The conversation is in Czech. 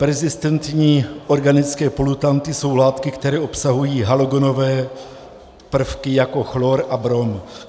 Perzistentní organické polutanty jsou látky, které obsahují halogenové prvky jako chlor a brom.